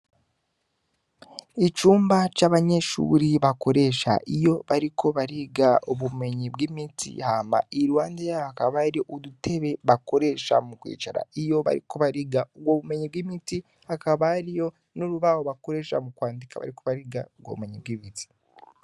Icumba c'abanyeshuri bakoresha iyo bariko bariga ubumenyi bw'imiti hama iruhande yaho hakaba hari udutebe bakoresha mu kwicara iyo bariko bariga ubwo ubumenyi bw'imiti. Hakaba hariyo n'urubaho bakoresha mu kwandika iyo bariko bariga ubwo bumenyi bwi'imiti.